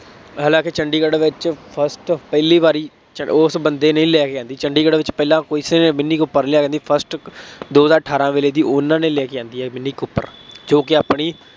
ਹਾਲਾਂਕਿ ਚੰਡੀਗੜ੍ਹ ਵਿੱਚ first ਪਹਿਲੀ ਵਾਰੀ ਉਸ ਬੰਦੇ ਨੇ ਲੈ ਗਿਆ ਸੀ, ਚੰਡੀਗੜ੍ਹ ਵਿੱਚ ਪਹਿਲਾਂ ਕਿਸੇ ਨੇ ਮਿੰਨੀ ਕੂਪਰ ਨਹੀਂ ਲਿਆਂਦੀ, first ਦੋ ਹਜ਼ਾਰ ਅਠਾਰਾਂ ਵੇਲੇ ਦੀ ਉਹਨਾ ਦੇ ਲੈ ਕੇ ਆਉਂਦੀ ਹੈ, ਮਿੰਨੀ ਕੂਪਰ ਜੋ ਕਿ ਆਪਣੀ